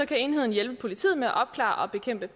kan enheden hjælpe politiet med at opklare og bekæmpe